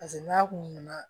Paseke n'a kun nana